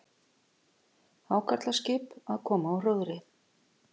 Hákarlaskip- að koma úr róðri.